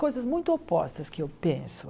Coisas muito opostas que eu penso